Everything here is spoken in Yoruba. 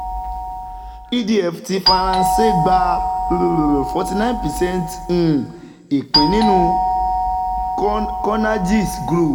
edf ti faranse gba fourty nine percent um ipin ninu conergies group